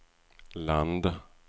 land